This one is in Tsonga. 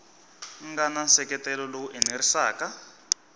nga na nseketelo lowu enerisaka